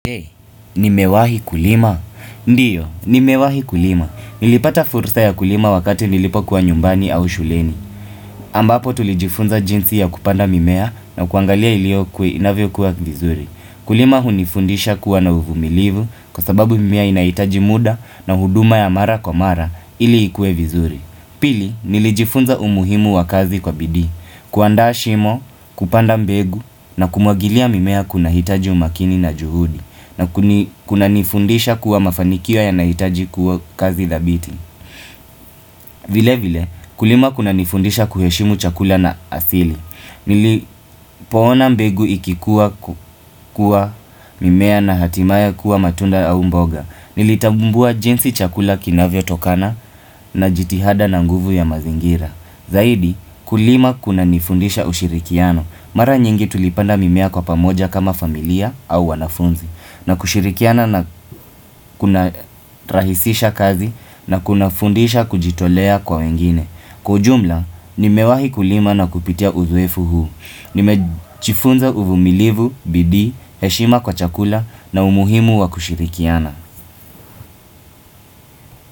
Je? Nimewahi kulima? Ndiyo, ni mewahi kulima. Nilipata fursa ya kulima wakati nilipokuwa nyumbani au shuleni aaaaaa ambapo tulijifunza jinsi ya kupanda mimea na kuangalia iliokwe inavyo kuwa vizuri. Kulima hunifundisha kuwa na uvumilivu kwa sababu mimea inaitaji muda na huduma ya mara kwa mara ili ikue vizuri. Pili, nilijifunza umuhimu wa kazi kwa bidii. Kuaanda shimo, kupanda mbegu na kumwagilia mimea kuna hitaji umakini na juhudi. Na kuni kuna nifundisha kuwa mafanikio yanahitaji kuo kuwa kazi dhabiti vile vile, kulima kunanifundisha kuheshimu chakula na asili. Nilip poona mbegu ikikuwa ku kua mimea na hatimaye kuwa matunda au mboga. Nilitabumbua jinsi chakula kinavyotokana n na jitihada na nguvu ya mazingira. Zaidi kulima kunanifundisha ushirikiano. Mara nyingi tulipanda mimea kwa pamoja kama familia au wanafunzi na kushirikiana na kuna rahisisha kazi na kunafundisha kujitolea kwa wengine Kwa ujumla, nimewahi kulima na kupitia udhoefu huu. Nimej jifunza uvumilivu, bidii heshima kwa chakula na umuhimu wa kushirikiana.